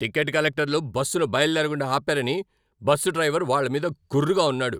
Ticket కలెక్టర్లు బస్సును బయలుదేరకుండా ఆపారని బస్సు డ్రైవర్ వాళ్ళ మీద గుర్రుగా ఉన్నాడు.